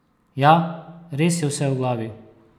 Ja, res je vse v glavi!